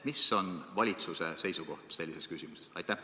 Mis on valitsuse seisukoht sellises küsimuses?